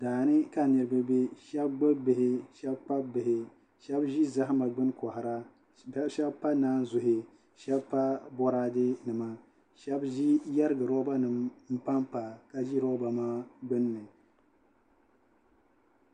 Daani ka niraba bɛ shab gbubi bihi shab kpabi bihi shab ʒi zahama gbuni kohara shab pa naazuhi shab pa boraadɛ nima shab yɛrigi roba nim n panpa ka ʒi roba maa gbunni